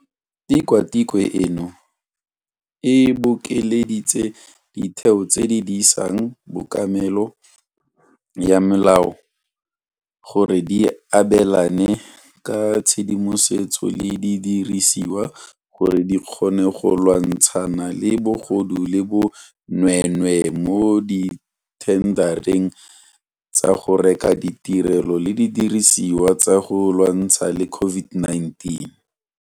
Tikwatikwe eno e bokeleditse ditheo tse di disang kobamelo ya molao gore di abelane ka tshedimosetso le didirisiwa gore di kgone go lwantshana le bogodu le bo nweenwee mo dithendareng tsa go reka ditirelo le didirisiwa tsa go lwantshana le COVID-19.